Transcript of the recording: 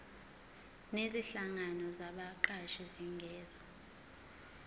nezinhlangano zabaqashi zingenza